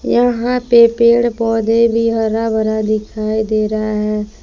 यहां पे पेड़ पौधे भी हरा भरा दिखाई दे रहा है।